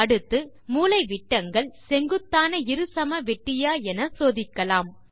அடுத்து மூலைவிட்டங்கள் செங்குத்தான இருசமவெட்டியா என சோதிக்கலாம்